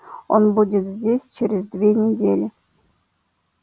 он будет здесь через две недели